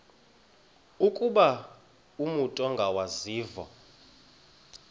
ukuba umut ongawazivo